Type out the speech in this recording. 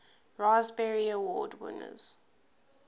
raspberry award winners